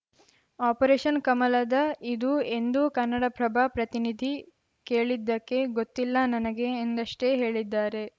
operation ಕಮಲದ ಇದು ಎಂದು ಕನ್ನಡಪ್ರಭ ಪ್ರತಿನಿಧಿ ಕೇಳಿದ್ದಕ್ಕೆ ಗೊತ್ತಿಲ್ಲ ನನಗೆ ಎಂದಷ್ಟೇ ಹೇಳಿದ್ದಾರೆ